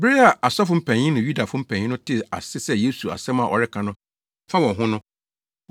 Bere a asɔfo mpanyin ne Yudafo mpanyin no tee ase sɛ Yesu asɛm a ɔreka no fa wɔn ho no,